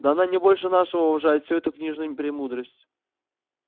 да она не больше нашего уважает всю эту книжную премудрость